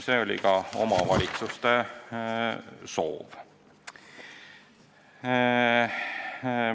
See oli ka omavalitsuste soov.